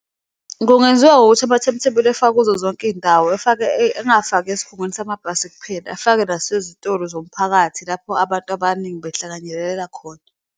Kungenziwa ngokuthi ama-timetable efakwe kuzo zonke iyindawo, engafaki esikhungweni samabhasi kuphela, efake nasezitoro zomphakathi lapho abantu abaningi behlanganyelela khona.